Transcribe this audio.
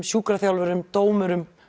sjúkraþjálfurum dómurum